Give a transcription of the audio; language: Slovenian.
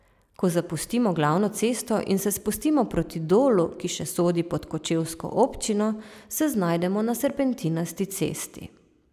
Ko zapustimo glavno cesto in se spustimo proti Dolu, ki še sodi pod kočevsko občino, se znajdemo na serpentinasti cesti.